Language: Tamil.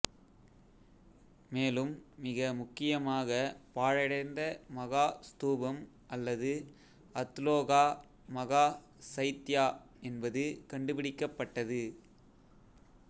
மேலும் மிக முக்கியமாக பாழடைந்த மகா ஸ்தூபம் அல்லது அத்லோகா மகா சைத்யா என்பது கண்டுபிடிக்கப்பட்டது